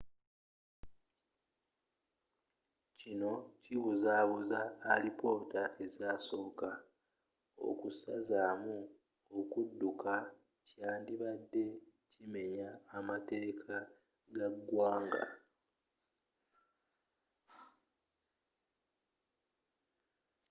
kino kibuzabuza alipoota ezasooka okusazamu okudduka kyandibadde kimenya mateeka ga ggwanga